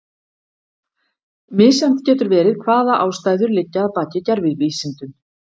Misjafnt getur verið hvaða ástæður liggja að baki gervivísindum.